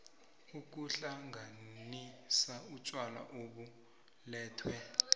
ukuhlanganisa utjwala obulethwe